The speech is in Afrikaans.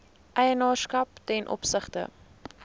eienaarskap ten opsigte